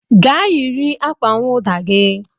Gaa yiri akwa nwụda gi